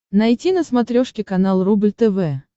найти на смотрешке канал рубль тв